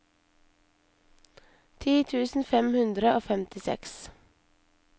ti tusen fem hundre og femtiseks